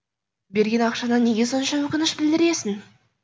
берген ақшаңа неге сонша өкініш білдіресің